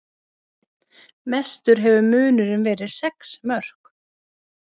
Mestur hefur munurinn verið sex mörk